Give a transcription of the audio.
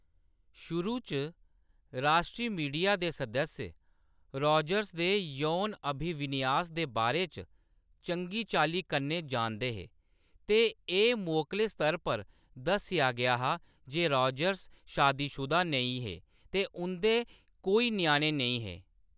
शुरू च, राश्ट्री मीडिया दे सदस्य रॉजर्स दे यौन अभिविन्यास दे बारे च चंगी चाल्ली कन्नै जानदे हे, ते एह्‌‌ मोकले स्तर पर दस्सेआ गेआ हा जे रॉजर्स शादीशुदा नेईं हे ते उंʼदे कोई ञ्याणे नेईं हे।